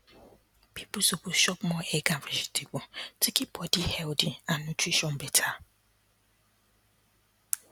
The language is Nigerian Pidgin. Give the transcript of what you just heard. people suppose shop more egg and vegetable to keep body healthy and nutrition better